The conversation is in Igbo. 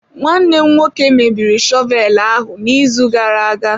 Nwanne m nwoke mebiri shọvel ahụ n'izu gara aga.